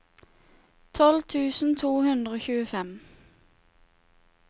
tolv tusen to hundre og tjuefem